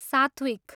सात्विक!